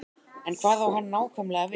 En hvað á hann nákvæmlega við?